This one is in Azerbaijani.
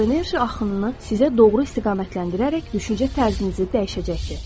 Bu enerji axınını sizə doğru istiqamətləndirərək düşüncə tərzinizi dəyişəcəkdir.